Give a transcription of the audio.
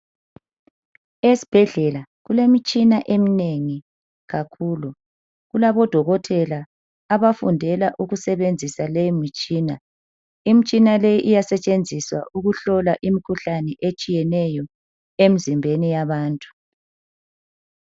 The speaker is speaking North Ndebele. Esibhedlela kulemtshina eminengi kakhulu. Kulabo dokotela abafundela ukusebenzisa le mitshina. Imtshina le iyasetshenziswa ukuhlola imkhuhlane etshiyeneyo emzimbeni yabantu.